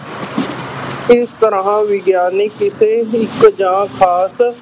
ਇਸ ਤਰ੍ਹਾਂ ਵਿਗਿਆਨਕ ਕਿਸੇ ਇੱਕ ਜਾਂ ਖ਼ਾਸ